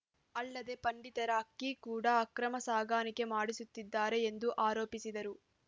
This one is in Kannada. ಅಲ್ಲದೆ ಪಡಿತರ ಅಕ್ಕಿ ಕೂಡ ಅಕ್ರಮ ಸಾಗಾಣಿಕೆ ಮಾಡಿಸುತ್ತಿದ್ದಾರೆ ಎಂದು ಆರೋಪಿಸಿದರು